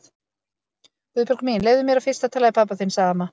Guðbjörg mín, leyfðu mér fyrst að tala við pabba þinn sagði amma.